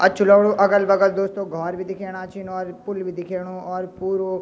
अच्छू लगणु अगल-बगल दोस्तों घौर भी दिखेणा छिन और पुल भी दिखेणु और पुरु --